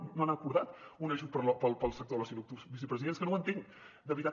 encara no han acordat un ajut per al sector de l’oci nocturn vicepresident és que no ho entenc de veritat